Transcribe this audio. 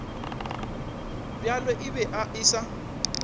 bjalo e be e sa